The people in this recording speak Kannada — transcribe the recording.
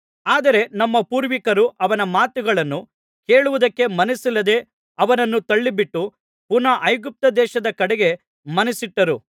ಆದರೆ ನಮ್ಮ ಪೂರ್ವಿಕರು ಅವನ ಮಾತುಗಳನ್ನು ಕೇಳುವುದಕ್ಕೆ ಮನಸ್ಸಿಲ್ಲದೆ ಅವನನ್ನು ತಳ್ಳಿಬಿಟ್ಟು ಪುನಃ ಐಗುಪ್ತದೇಶದ ಕಡೆಗೆ ಮನಸ್ಸಿಟ್ಟರು